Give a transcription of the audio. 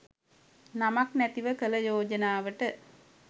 නමක් නැතිව කළ යෝජනාවට